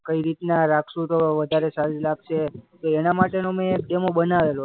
કઈ રીતના રાખશું તો વધારે સારી લાગશે? તો એના માટેનો મેં એક ડેમો બનાવેલો.